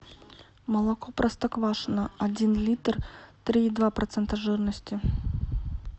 молоко простоквашино один литр три и два процента жирности